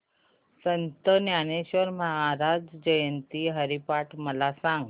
संत ज्ञानेश्वर महाराज जयंती हरिपाठ मला सांग